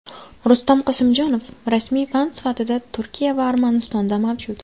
Rustam Qosimjonov: Rasmiy fan sifatida Turkiya va Armanistonda mavjud.